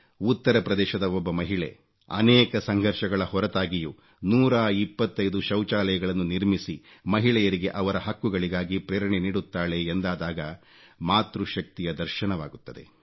ಉತ್ತರಪ್ರದೇಶದ ಒಬ್ಬ ಮಹಿಳೆ ಅನೇಕ ಸಂಘರ್ಷಗಳ ಹೊರತಾಗಿಯೂ 125 ಶೌಚಾಲಯಗಳನ್ನು ನಿರ್ಮಿಸಿ ಮಹಿಳೆಯರಿಗೆ ಅವರ ಹಕ್ಕುಗಳಿಗಾಗಿ ಪ್ರೇರಣೆ ನೀಡುತ್ತಾಳೆ ಎಂದಾದಾಗ ಮಾತೃ ಶಕ್ತಿಯ ದರ್ಶನವಾಗುತ್ತದೆ